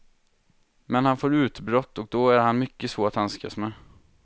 Men han får utbrott och då är han mycket svår att handskas med.